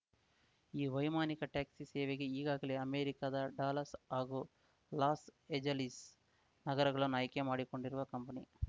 ಈ ವೈಮಾನಿಕ ಟ್ಯಾಕ್ಸಿ ಸೇವೆಗೆ ಈಗಾಗಲೇ ಅಮೆರಿಕದ ಡಲಾಸ್‌ ಹಾಗೂ ಲಾಸ್‌ ಏಜಲೀಸ್‌ ನಗರಗಳನ್ನು ಆಯ್ಕೆ ಮಾಡಿಕೊಂಡಿರುವ ಕಂಪನಿ